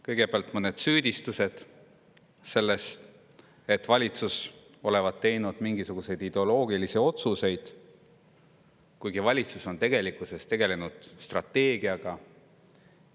Kõigepealt mõned süüdistused selles, et valitsus olevat teinud mingisuguseid ideoloogilisi otsuseid, kuigi valitsus on tegelikkuses tegelenud strateegiaga.